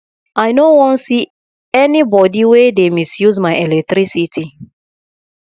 i no wan see anybody wey dey misuse my electricity